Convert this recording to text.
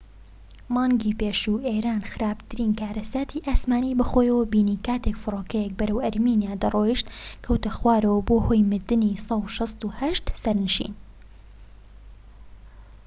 مانگی پێشوو ئێران خراپترین کارەساتی ئاسمانی بەخۆوە بینی کاتێك فڕۆکەیەك بەرەو ئەرمینیا دەڕۆیشت کەوتە خوارەوە و بووە هۆی مردنی ١٦٨ سەرنشین